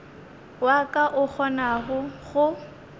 wa ka o kgonago go